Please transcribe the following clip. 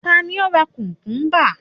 ta ni o ra kukumba